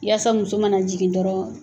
Yasa muso mana jigin dɔrɔn